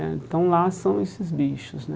Né Então lá são esses bichos, né?